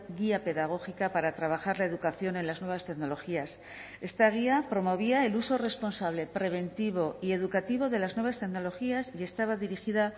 guía pedagógica para trabajar la educación en las nuevas tecnologías esta guía promovía el uso responsable preventivo y educativo de las nuevas tecnologías y estaba dirigida